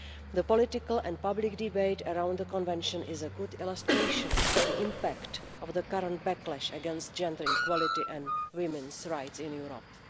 The political and public debate around the Istanbul Convention is a good illustration of the impact of the current backlash against gender equality and women's rights in Europe.